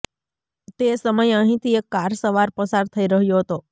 તે સમયે અહીંથી એક કાર સવાર પસાર થઈ રહ્યો હતો